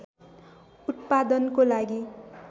उत्पादनको लागि